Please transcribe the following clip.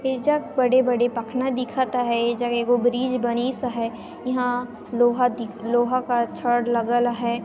ए जगह बड़े-बड़े पखना दिखथ हयये गो ब्रिज बनिस हयइहा लोहा दि लोहा का छड़ लगल हय।